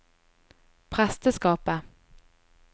presteskapet